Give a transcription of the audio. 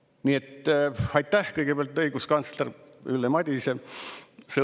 Nii et aitäh kõigepealt, õiguskantsler Ülle Madise!